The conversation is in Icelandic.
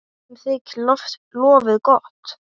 Öllum þykir lofið gott.